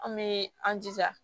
An bɛ an jija